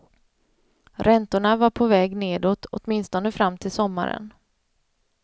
Räntorna var på väg nedåt, åtminstone fram till sommaren.